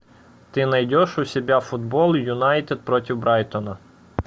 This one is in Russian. ты найдешь у себя футбол юнайтед против брайтона